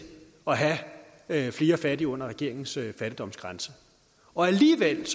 at have flere fattige under regeringens fattigdomsgrænse alligevel er